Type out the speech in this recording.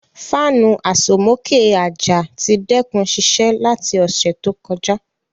Fanu asomoke aja ti dẹkun siṣẹ lati ọsẹ to kọja.